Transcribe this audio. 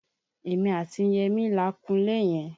Èmi àti Yẹmí la kunlé yẹn